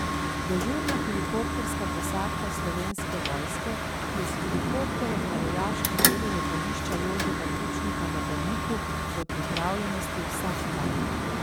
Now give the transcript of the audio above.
Dežurna helikopterska posadka Slovenske vojske je s helikopterjem na vojaškem delu letališča Jožeta Pučnika na Brniku v pripravljenosti vsak dan.